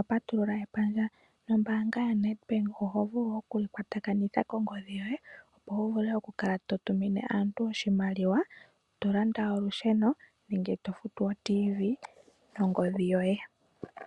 a patulula epandja nombanga yaNedbank oho vulu okuli kwatakanitha kongodhi yoye opo wu vule oku kala to tumine aantu oshimaliwa, to landa olusheno nenge to futu oTv nongodhi yoye.